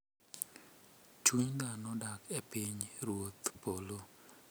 Chuny dhano dak e piny ruodh polo kapok onyuole.